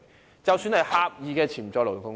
現在便看看狹義的潛在勞動力。